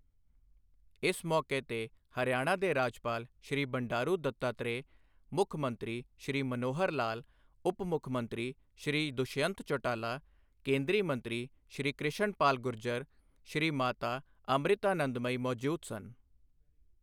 ਇਸ ਮੌਕੇ ਤੇ ਹਰਿਆਣਾ ਦੇ ਰਾਜਪਾਲ ਸ਼੍ਰੀ ਬੰਡਾਰੂ ਦੱਤਾਤ੍ਰੇਯ, ਮੁੱਖ ਮੰਤਰੀ ਸ਼੍ਰੀ ਮਨੋਹਰ ਲਾਲ, ਉਪ ਮੁੱਖ ਮੰਤਰੀ ਸ਼੍ਰੀ ਦੁਸ਼ਯੰਤ ਚੌਟਾਲਾ, ਕੇਂਦਰੀ ਮੰਤਰੀ ਸ਼੍ਰੀ ਕ੍ਰਿਸ਼ਨ ਪਾਲ ਗੁਰਜਰ, ਸ਼੍ਰੀ ਮਾਤਾ ਅਮ੍ਰਿਤਾਨੰਦਮਯੀ ਮੌਜੂਦ ਸਨ।